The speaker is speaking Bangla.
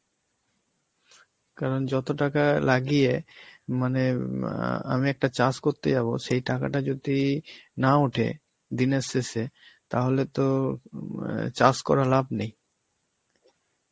কারণ যত টাকা লাগিয়ে, মানে আঁ আমি একটা চাষ করতে যাবো সেই টাকাটা যদি না ওঠে দিনের শেষে তাহলে তো আঁ চাষ করা লাভ নেই, বা চাষ